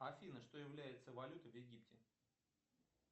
афина что является валютой в египте